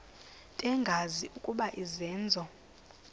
bengazi ukuba izenzo